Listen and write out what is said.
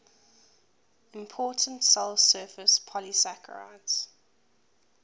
important cell surface polysaccharides